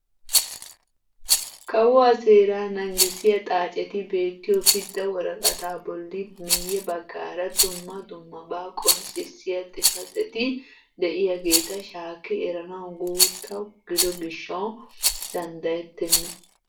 Kawuwaa seeraa nangissiyaa xaacetti beettiyoo pidda woraqataa bolli miyye baggaara dumma dummabaa qonccisiyaa xifateti de'iyaageta shaakki eranawu guutta gido gishshawu danddayettena.